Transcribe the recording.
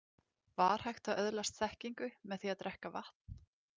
Var hægt að öðlast þekkingu með því að drekka vatn?